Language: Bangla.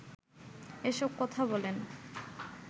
এসব কথা বলেন